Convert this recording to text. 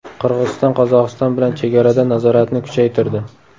Qirg‘iziston Qozog‘iston bilan chegarada nazoratni kuchaytirdi.